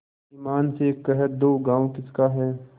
ईमान से कह दो गॉँव किसका है